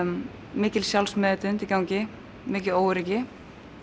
mikil sjálfsmeðvitund í gangi mikið óöryggi